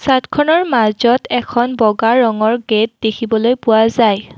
চাদখনৰ মাজত এখন বগা ৰঙৰ গেট দেখিবলৈ পোৱা যায়।